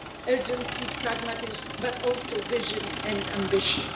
urgency, pragmatism, but also vision and ambition.